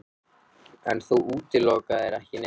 Höskuldur: En þú útilokar ekki neitt?